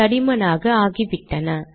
தடிமனாக ஆகிவிட்டன